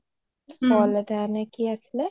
fall এটা নে কি আছিলে